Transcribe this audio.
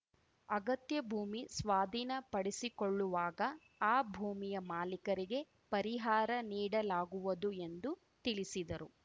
ಅಗತ್ಯ ಭೂಮಿ ಸ್ವಾಧೀನ ಪಡಿಸಿಕೊಳ್ಳುವಾಗ ಆ ಭೂಮಿಯ ಮಾಲೀಕರಿಗೆ ಪರಿಹಾರ ನೀಡಲಾಗುವದು ಎಂದು ತಿಳಿಸಿದರು